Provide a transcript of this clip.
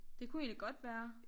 Det kunne egentlig godt være